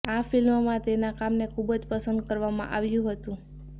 આ ફિલ્મમાં તેના કામને ખૂબ જ પસંદ કરવામાં આવ્યું હતું